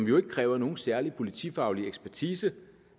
jo ikke kræver nogen særlig politifaglig ekspertise